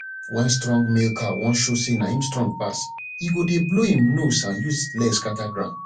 wen strong male cow wan show say na him strong pass e go dey blow im nose and use leg scatter ground